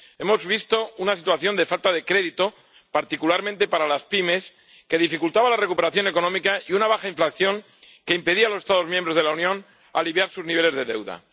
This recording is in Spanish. Hemos visto una situación de falta de crédito, particularmente para las pymes, que dificultaba la recuperación económica, y una baja inflación que impedía a los Estados miembros de la Unión aliviar sus niveles de deuda.